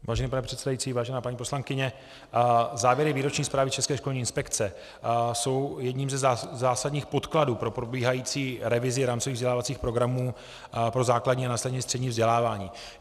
Vážený pane předsedající, vážená paní poslankyně, závěry výroční zprávy České školní inspekce jsou jedním ze zásadních podkladů pro probíhající revizi rámcových vzdělávacích programů pro základní a následně střední vzdělávání.